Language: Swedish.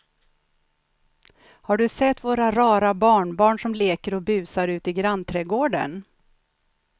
Har du sett våra rara barnbarn som leker och busar ute i grannträdgården!